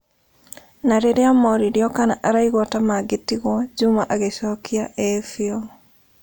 Na rĩrĩa oririo kana araigua ta mangĩtigwo, Juma agĩcokia ĩĩ fiu